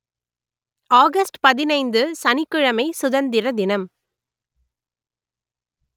August பதினைந்து சனிக் கிழமை சுதந்திர தினம்